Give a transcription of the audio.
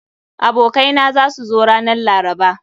Abokai na za su zo ranan laraba.